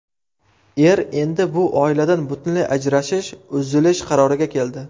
Er endi bu oiladan butunlay ajrashish, uzilish qaroriga keldi.